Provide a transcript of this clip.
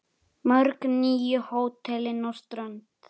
Mörg nýju hótelin á strönd